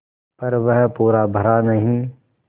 पर वह पूरा भरा नहीं